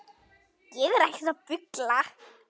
Ég er ekkert að bulla.